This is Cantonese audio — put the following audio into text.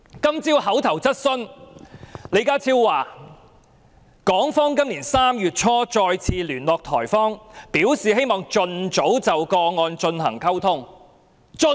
今天的口頭質詢環節中，李家超表示港方今年3月初也再次聯絡台方，表示希望盡早就案件進行溝通。